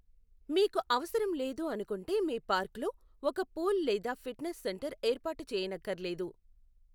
మీకు అవసరం లేదు అనుకుంటే మీ పార్కులో ఒక పూల్ లేదా ఫిట్నెస్ సెంటర్ ఏర్పాటు చేయనక్కర్లేదు.